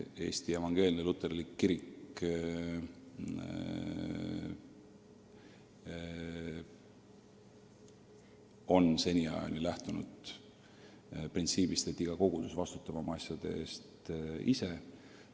Eesti Evangeelne Luterlik Kirik on seni lähtunud printsiibist, et iga kogudus vastutab oma asjade eest ise.